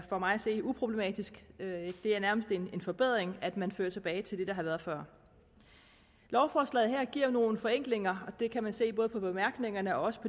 for mig at se uproblematisk det er nærmest en forbedring at man fører tilbage til det der har været før lovforslaget giver nogle forenklinger det kan man se af både bemærkningerne og